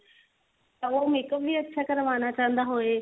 ਤਾਂ ਉਹ makeup ਵੀ ਚੰਗਾ ਕਰਵਾਉਣਾ ਚਾਹੁੰਦਾ ਹੋਵੇ